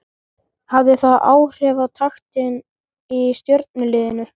Hafði það áhrif á taktinn í Stjörnuliðinu?